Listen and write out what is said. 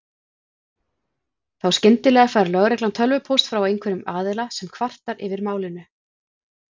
Þá skyndilega fær lögreglan tölvupóst frá einhverjum aðila sem kvartar yfir málinu.